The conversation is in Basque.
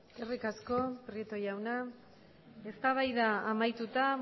eskerri asko prieto jaunak eztabaida amaituta